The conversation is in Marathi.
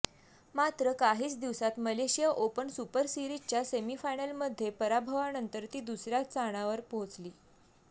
मात्र काहीच दिवसात मलेशिया ओपन सुपर सीरिजच्या सेमीफायनलमध्ये पराभवानंतर ती दुसऱ्या स्थानावर पोहोचली